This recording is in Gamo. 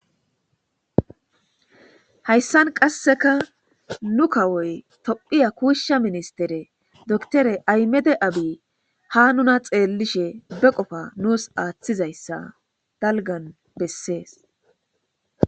Hayisani qasekka nu kawoy tophphiya kusha ministere dokkitere ayimede abiy ha nuna xeelishe ha qofa nus aththizayisa daliga beesesi